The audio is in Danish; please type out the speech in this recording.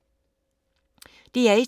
DR1